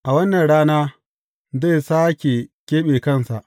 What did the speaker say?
A wannan rana zai sāke keɓe kansa.